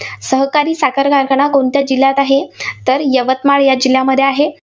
सहकारी साखर कारखाना कोणत्या जिल्ह्यात आहे? तर यवतमाळ या जिल्ह्यामध्ये आहे.